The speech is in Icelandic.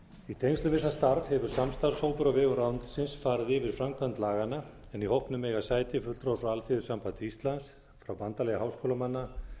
í tengslum við það starf hefur samstarfshópur á vegum ráðuneytisins farið yfir framkvæmd laganna en í hópnum eiga sæti fulltrúar frá alþýðusambandi íslands bandalagi háskólamanna